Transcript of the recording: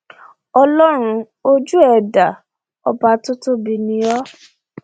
ọlọrun ojú ẹ dá ọba tó tóbi ni o o